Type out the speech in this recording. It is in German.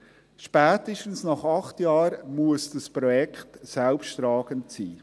Spätestens nach acht Jahren muss das Projekt selbsttragend sein.